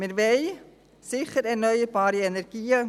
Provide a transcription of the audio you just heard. Wir wollen sicher erneuerbare Energien.